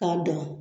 K'a dan